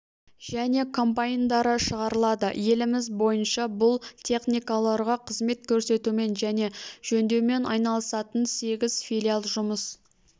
және комбайндары шығарылады еліміз бойынша бұл техникаларға қызмет көрсетумен және жөндеумен айналысатын сегіз филиал жұмыс